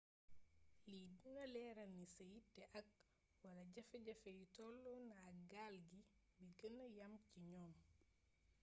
lii dina léeral ni sa yitté ak/wala jaféjafé yi tollona ak gaal gi bi gëna yam ci ñoom